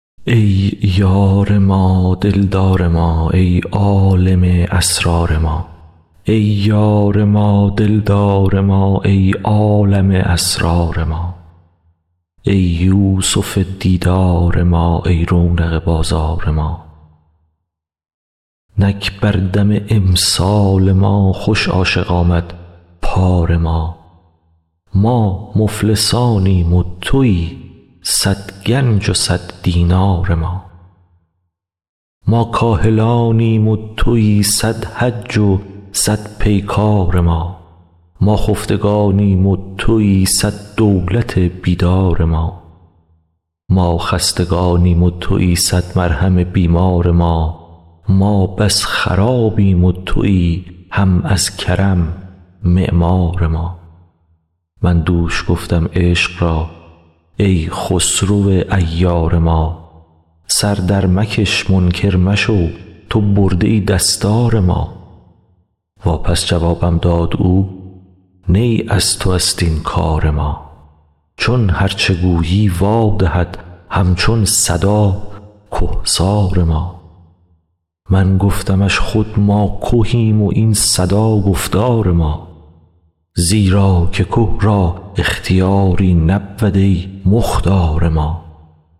ای یار ما دل دار ما ای عالم اسرار ما ای یوسف دیدار ما ای رونق بازار ما نک بر دم امسال ما خوش عاشق آمد پار ما ما مفلسانیم و تویی صد گنج و صد دینار ما ما کاهلانیم و تویی صد حج و صد پیکار ما ما خفتگانیم و تویی صد دولت بیدار ما ما خستگانیم و تویی صد مرهم بیمار ما ما بس خرابیم و تویی هم از کرم معمار ما من دوش گفتم عشق را ای خسرو عیار ما سر درمکش منکر مشو تو برده ای دستار ما واپس جوابم داد او نی از توست این کار ما چون هرچ گویی وا دهد هم چون صدا که سار ما من گفتمش خود ما کهیم و این صدا گفتار ما زیرا که که را اختیاری نبود ای مختار ما